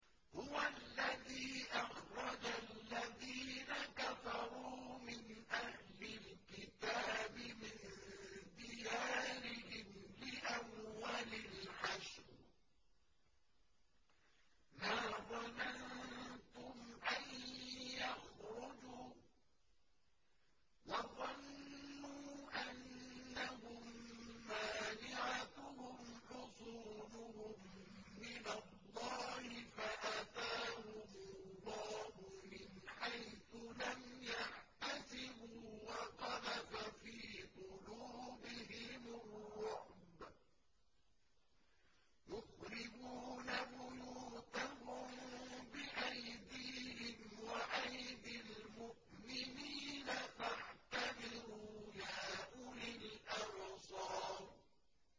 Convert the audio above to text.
هُوَ الَّذِي أَخْرَجَ الَّذِينَ كَفَرُوا مِنْ أَهْلِ الْكِتَابِ مِن دِيَارِهِمْ لِأَوَّلِ الْحَشْرِ ۚ مَا ظَنَنتُمْ أَن يَخْرُجُوا ۖ وَظَنُّوا أَنَّهُم مَّانِعَتُهُمْ حُصُونُهُم مِّنَ اللَّهِ فَأَتَاهُمُ اللَّهُ مِنْ حَيْثُ لَمْ يَحْتَسِبُوا ۖ وَقَذَفَ فِي قُلُوبِهِمُ الرُّعْبَ ۚ يُخْرِبُونَ بُيُوتَهُم بِأَيْدِيهِمْ وَأَيْدِي الْمُؤْمِنِينَ فَاعْتَبِرُوا يَا أُولِي الْأَبْصَارِ